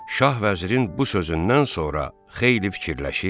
Şah vəzirin bu sözündən sonra xeyli fikirləşir.